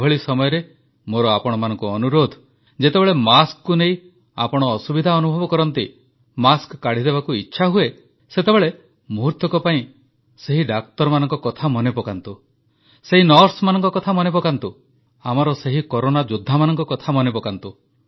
ଏଭଳି ସମୟରେ ମୋର ଆପଣମାନଙ୍କୁ ଅନୁରୋଧ ଯେତେବେଳେ ମାସ୍କକୁ ନେଇ ଆପଣ ଅସୁବିଧା ଅନୁଭବ କରନ୍ତି ମାସ୍କ କାଢ଼ିଦେବାକୁ ଇଚ୍ଛାହୁଏ ସେତେବେଳେ ମୁହୂର୍ତ୍ତକ ପାଇଁ ସେହି ଡାକ୍ତରମାନଙ୍କ କଥା ମନେ ପକାନ୍ତୁ ସେହି ନର୍ସମାନଙ୍କ କଥା ମନେପକାନ୍ତୁ ଆମର ସେହି କରୋନା ଯୋଦ୍ଧାମାନଙ୍କ କଥା ମନେପକାନ୍ତୁ